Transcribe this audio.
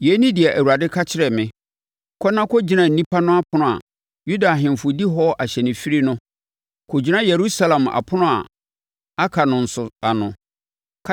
Yei ne deɛ Awurade ka kyerɛɛ me, “Kɔ na kɔgyina nnipa no ɛpono a Yuda ahemfo di hɔ ahyɛnfirie no; kɔgyina Yerusalem apono a aka no nso ano.